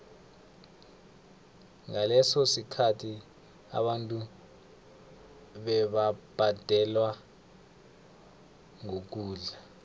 ngaleso sikhathi abantu bebabhadelwa ngokudla